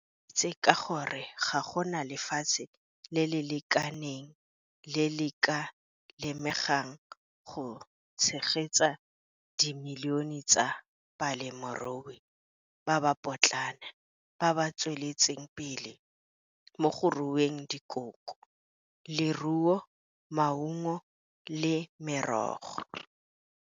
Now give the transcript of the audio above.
O tlaleleditse ka gore go na le lefatshe le le lekaneng le le ka lemegang go tshegetsa dimilione tsa balemirui ba ba potlana ba ba tsweletseng pele mo go rueng dikoko, leruo, maungo le merogo.